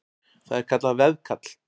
Það er kallað veðkall.